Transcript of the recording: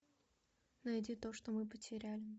найди то что мы потеряли